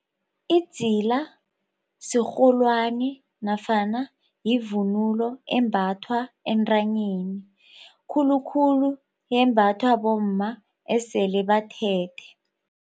Idzila sirholwani nofana yivunulo embathwa entanyeni khulukhulu yembathwa bomma esele bathethe.